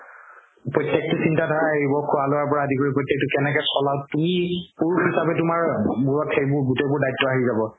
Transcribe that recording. প্ৰত্যেকতো চিন্তা ধাৰা আহিব খুৱা লুৱাৰ পৰা আদি কৰি প্ৰত্যেকতো কেনেকে চলা তুমি পুৰুষ হিচাপে তুমাৰ মুৰত সেইবোৰ গুতেইবোৰ দায়িত্ব আহি যাব